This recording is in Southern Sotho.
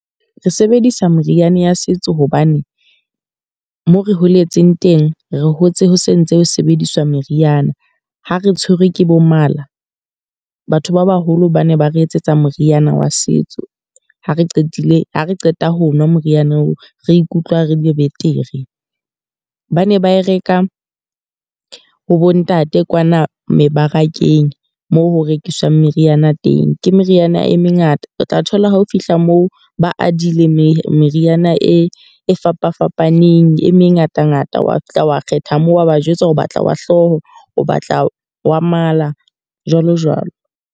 Re sebedisa meriana ya setso hobane moo re holetseng teng, re hotse ho sentse ho sebediswa meriana. Ha re tshwerwe ke bo mala. Batho ba baholo ba ne ba re etsetsa moriana wa setso, ha re qetile ha re qeta ho nwa moriana oo re ikutlwa re le betere. Ba ne ba e reka ha bo ntate kwana mebarakeng moo ho rekiswang meriana teng. Ke meriana e mengata, o tla thola ha o fihla moo ba adile mane meriana e fapafapaneng e mengata-ngata. Wa fihla wa kgetha moo, wa ba jwetsa o batla wa hlooho, o batla wa mala, jwalo jwalo.